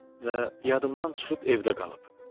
Və yadımdan çıxıb evdə qalıb.